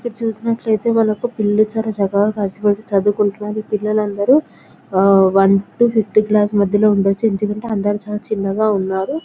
ఇది చూస్తున్నట్టు అయితే వల్ల యొక్క పిల్లలు చాలా చక్కగా కలిసి మెలిసి చదువు కుంటున్నారు పిల్లలు అందరూ వన్ తో ఫైవేత్ క్లాస్ మధ్యల ఉండొచ్చు ఎందుకు అంటే అందరూ చాలా చిన్నగా ఉన్నారు.